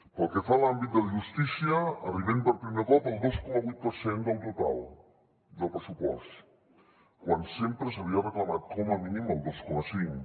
pel que fa a l’àmbit de justícia arribem per primer cop al dos coma vuit per cent del total del pressupost quan sempre s’havia reclamat com a mínim el dos coma cinc